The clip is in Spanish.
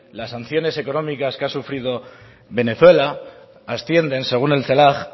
las sanciones económicas que ha sufrido venezuela ascienden según el celag